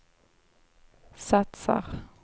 satsar